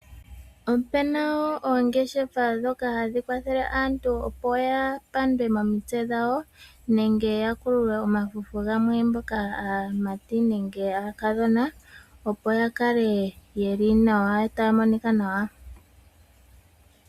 Opuna wo oongeshefa ndhoka ha dhi kwathele aantu opo ya pandwe momitse dhawo nenge ya kululwe omafufu gamwe mboka aamati nenge aakadhona, opo ya kale yeli nawa taya monika nawa.